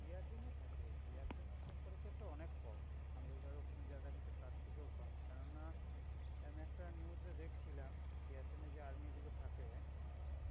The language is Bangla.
Siachen এ থাকে, Siachen এর temperature টা অনেক কম. America র ওখানে যা দেখাচ্ছে, তার থেকেও কম. কেননা আমি একটা news এ দেখছিলাম, Siachen এ যে army গুলো থাকে,